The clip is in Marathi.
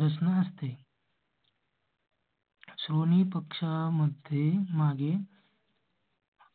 रचना असते. सोनी पक्ष मध्ये मागे.